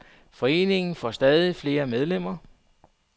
Foreningen får stadig flere medlemmer.